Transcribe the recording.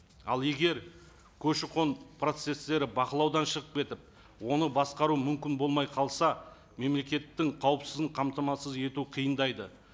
ал егер көші қон процесстері бақылаудан шығып кетіп оны басқару мүмкін болмай қалса мемлекеттің қауіпсіздігін қамтамасыз ету қиындайды